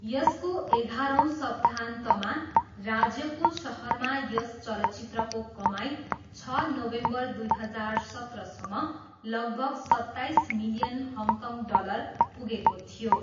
यसको एघारौँ सप्ताहन्तमा, राज्यको सहरमा यस चलचित्रको कमाइ छ नोभेम्बर दुई हजार सत्रसम्म, लगभग सत्ताइस मिलियन हङकङ डलर पुगेको थियो।